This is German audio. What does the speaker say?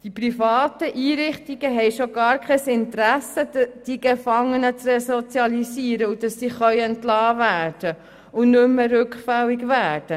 Die privaten Einrichtungen haben schon gar kein Interesse, die Gefangenen zu resozialisieren, sodass sie entlassen werden können und nicht mehr rückfällig werden.